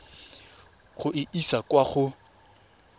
go e isa kwa go